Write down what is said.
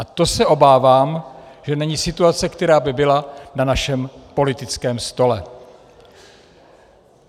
A to se obávám, že není situace, která by byla na našem politickém stole.